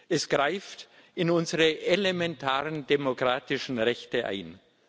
Es greift in unsere elementaren demokratischen Rechte ein.